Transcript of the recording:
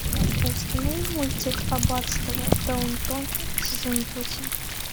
установи мультик аббатство даунтон сезон восемь